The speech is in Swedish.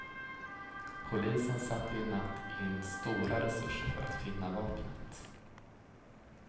Polisen satte i natt in stora resurser för att finna vapnet.